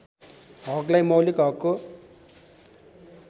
हकलाई मौलिक हकको